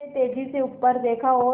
उसने तेज़ी से ऊपर देखा और